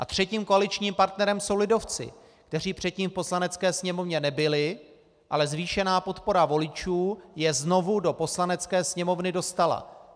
A třetím koaličním partnerem jsou lidovci, kteří předtím v Poslanecké sněmovně nebyli, ale zvýšená podpora voličů je znovu do Poslanecké sněmovny dostala.